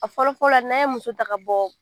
A fɔlɔ fɔlɔ n'an ye muso ta ka bɔ